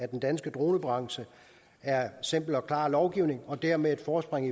den danske dronebranche simpel og klar lovgivning og dermed et forspring